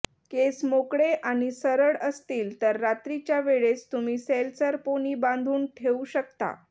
केस मोकळे आणि सरळ असतील तर रात्रीच्या वेळेस तुम्ही सैलसर पोनी बांधून ठेऊ शकता